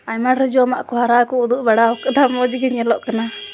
M रोजू घड़ा ता को मोजी अ दगला --